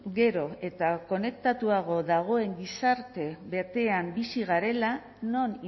gero eta konektatuago dagoen gizarte batean bizi garela non